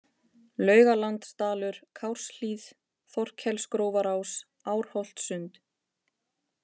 Laugalandsdalur, Kárshlíð, Þorkelsgrófarás, Árholtssund